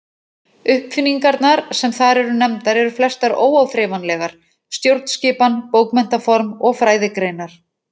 Uppfinningarnar sem þar eru nefndar eru flestar óáþreifanlegar: stjórnskipan, bókmenntaform og fræðigreinar.